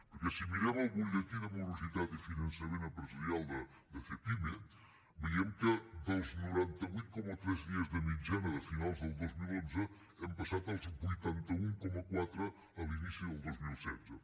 perquè si mirem el butlletí de morositat i finançament empresarial de cepyme veiem que dels noranta vuit coma tres dies de mitjana de finals del dos mil onze hem passat als vuitanta un coma quatre a l’inici del dos mil setze